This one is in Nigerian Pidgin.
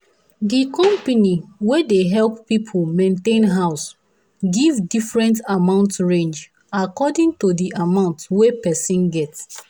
the company wey dey help people maintain house give different amount range according to the amount wey person get